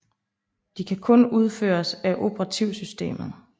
De kan kun udføres af operativsystemet